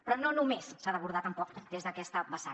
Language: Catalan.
però no només s’ha d’abordar tampoc des d’aquesta vessant